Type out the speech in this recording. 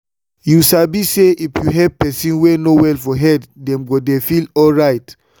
you sabi say if you help person wey no well for head them go dey feel alright.